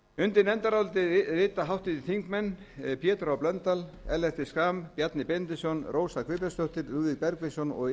undir nefndarálitið rita háttvirtir þingmenn pétur h blöndal ellert b schram bjarni benediktsson rósa guðbjartsdóttir lúðvík bergvinsson og